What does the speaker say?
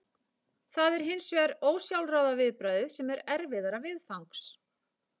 Það er hins vegar ósjálfráða viðbragðið sem er erfiðara viðfangs.